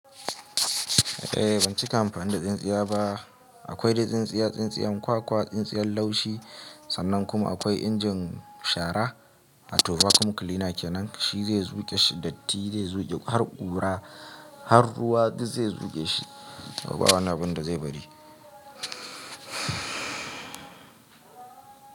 Eh ban cika amfani da tsintsiya ba akwai dai tsintsiya, tsintsiyan kwakwa, tsintsiyan laushi sannan kuma akwai injin shara a turbacom cleaner kenan shi zai zuƙe shi datti zai zuƙe har ƙura har ruwa duk zai zuƙe shi babu wani abin da zai bari.